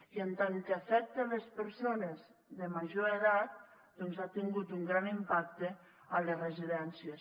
i en tant que afecta les persones de major edat doncs ha tingut un gran impacte a les residències